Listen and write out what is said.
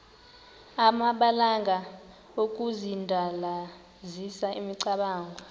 amabalana okudandalazisa imicamango